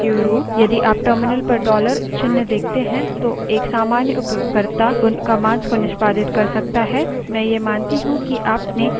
sudo su or su root यदि आप terminal पर $dollar चिन्ह देखते हैं तो एक सामान्य उपयोगकर्ता उन commands को निष्पादित कर सकता है